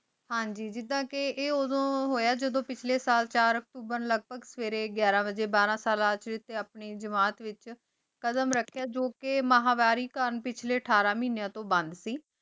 ਹਨ ਜੀ ਜਿਦਾਂ ਕੀ ਆਯ ਦੂਂ ਹੂਯ ਜਾਦੁਨ ਪਿਸ਼੍ਲ੍ਯ ਸਾਲ ਚਾਰ ਅਕਤੂਬਰ ਨੂੰ ਲਾਗਹ ਬਾਘ ਸਵੇਰੀ ਘਯਾਰਾਂ ਬਾਜੀ ਬਾਰਾਂ ਸਾਲਾਂ ਵੇਚ ਆਪਣੀ ਜਿਮਤ ਵੇਚ ਕਦਮ ਰਖੇਯਾ ਜੋ ਕੀ ਮਹ੍ਵਾਰੀ ਕਾਮ ਪਿਛਲੀ ਅਠਾਰਾਂ ਮਹੇਯਾਂ ਤੂੰ ਬੰਦ ਸੇ